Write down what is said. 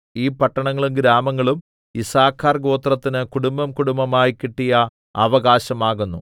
ഈ പട്ടണങ്ങളും ഗ്രാമങ്ങളും യിസ്സാഖാർ ഗോത്രത്തിന് കുടുംബംകുടുംബമായി കിട്ടിയ അവകാശം ആകുന്നു